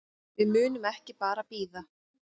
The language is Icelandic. Við munum ekki bara bíða.